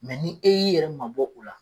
ni e y'i yɛrɛ mabɔ o la.